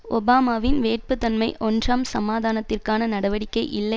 ஒபாமாவின் வேட்புத் தன்மை ஒன்றாம் சமாதானத்திற்கான நடவடிக்கை இல்லை